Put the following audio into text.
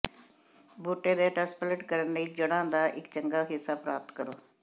ਬੂਟੇ ਦੇ ਟਸਪਲਟ ਕਰਨ ਲਈ ਜੜਾਂ ਦਾ ਇੱਕ ਚੰਗਾ ਹਿੱਸਾ ਪ੍ਰਾਪਤ ਕਰੋ